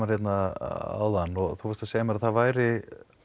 áðan og þú varst að segja mér að það væri